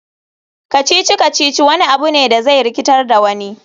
Kacici-kacici wani abu ne da zai rikitar da wani.